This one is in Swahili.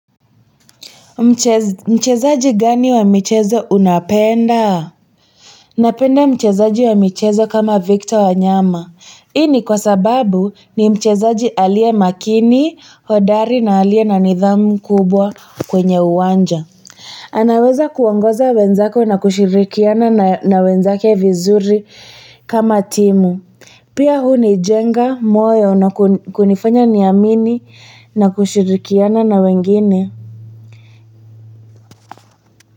Mchezaji gani wa michezo unapenda napenda mchezaji wa michezo kama victor wanyama hii ni kwa sababu ni mchezaji aliye makini hodari na aliye na nidhamu kubwa kwenye uwanja anaweza kuongoza wenzako na kushirikiana na wenzake vizuri kama timu pia huu hunijenga moyo na kunifanya niamini na kushirikiana na wengine.